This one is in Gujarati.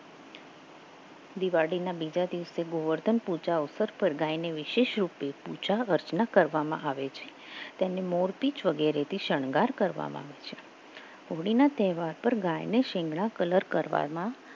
દિવાળીના બીજા દિવસે ગોવર્ધન પૂજા અવસર પર ગાયને વિશેષ રૂપે પૂજા રચના કરવામાં આવે છે તેને મોરપીછ વગેરે તે શણગાર કરવામાં આવે છે હોળીના તહેવાર પર ગાયને સિંગના કલર કરવામાં